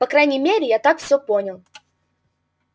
по крайней мере я так всё понял